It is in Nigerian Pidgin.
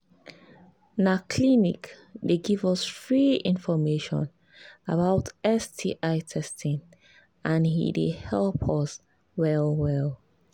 na clinic they give us free information about sti testing and he they help well well